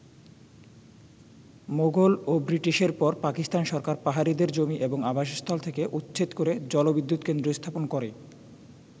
মোগল ও ব্রিটিশের পর পাকিস্তান সরকার পাহাড়িদের জমি এবং আবাসস্থল থেকে উচ্ছেদ করে জলবিদ্যুৎ কেন্দ্র স্থাপন করে।